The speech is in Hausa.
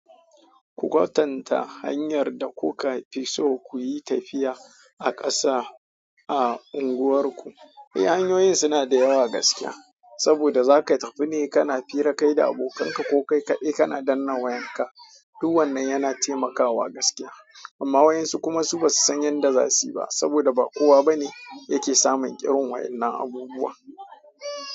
Ku kwatanta hanyar da kuka fi so ku yi tafiya a ƙasa a unguwarku. Hanyoyin suna da yawa gaskiya saboda za ka tafi ne kana hira kai da abokanka ko kai kaɗai kana dannawa yanka. Duk wannan yana taimakawa gaskiya amma wayan su kuma ba su san yan da zasuyi ba saboda ba kowa bane yake samun irin wayen na abubuwan.